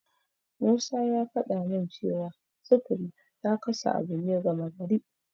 Musa ya faɗa min cewa sufuri ta kasa abu ne gama gari.